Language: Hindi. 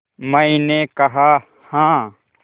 मैंने कहा हाँ